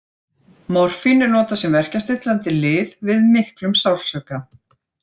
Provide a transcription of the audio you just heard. Morfín er notað sem verkjastillandi lyf við miklum sársauka.